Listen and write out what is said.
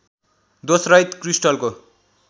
दोषरहित क्रिस्टलको